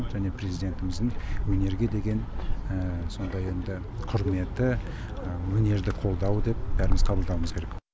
және президентіміздің өнерге деген сондай енді құрметі өнерді қолдауы деп бәріміз қабылдауымыз керек